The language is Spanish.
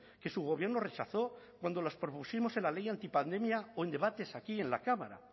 que su gobierno rechazó cuando las propusimos en la ley antipandemia o en debates aquí en la cámara